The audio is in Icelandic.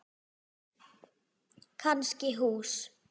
Kannski hús.